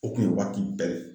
O kun ye waati bɛɛ